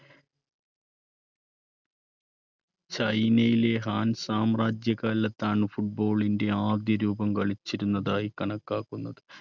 ചൈനയിലെ ഹാൻസ് സാമ്രാജ്യകാലത്താണ് football ന്റെ ആദ്യരൂപം കളിച്ചിരുന്നതായി കണക്കാക്കുന്നത്.